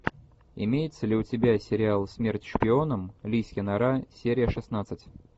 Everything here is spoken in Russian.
имеется ли у тебя сериал смерть шпионам лисья нора серия шестнадцать